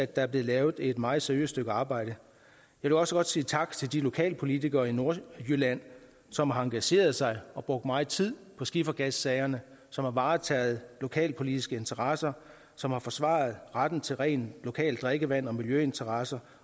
der er blevet lavet et meget seriøst stykke arbejde jeg vil også godt sige tak til de lokalpolitikere i nordjylland som har engageret sig og brugt meget tid på skifergassagerne som har varetaget lokalpolitiske interesser som har forsvaret retten til rent lokalt drikkevand og miljøinteresser